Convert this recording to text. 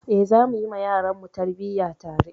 Eh, zamu yi wa yaranmu tarbiyya tare.